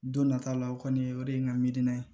Don nata la o kɔni o de ye n ka miirina ye